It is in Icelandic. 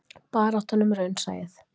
Baráttan um raunsæið.